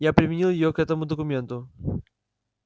я применил её к этому документу